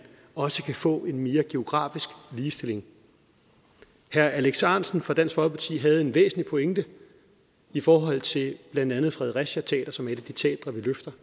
også kan få en mere geografisk ligestilling herre alex ahrendtsen fra dansk folkeparti havde en væsentlig pointe i forhold til blandt andet fredericia teater som er et af de teatre vi løfter